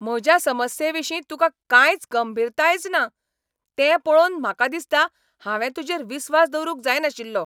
म्हज्या समस्येविशीं तुकां कांयच गंभीरतायच ना, तें पळोवन म्हाका दिसता हांवें तूजेर विस्वास दवरूंक जायनाशिल्लो